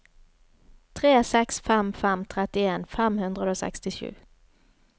tre seks fem fem trettien fem hundre og sekstisju